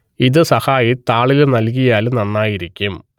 ഇത് സഹായി താളിൽ നൽകിയാൽ നന്നായിരിക്കും